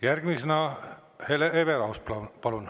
Järgmisena Hele Everaus, palun!